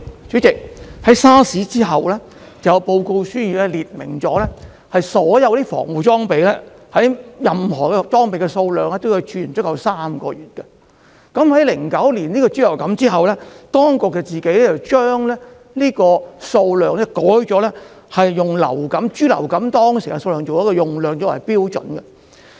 主席，在 SARS 後有一份報告，列明任何保護裝備的儲存量必須足以使用3個月，但在2009年爆發人類豬流感後，當局自行將儲存量修改為以爆發人類豬流感當時的用量作為標準。